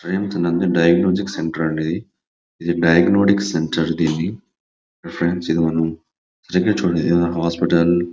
ఇది diagnostic centre అండి ఇది డయాగ్నొస్టిక్ సెంటర్ ఫ్రెండ్స్ సరిగా చుడండి ఇక్కడ హాస్పిటల్--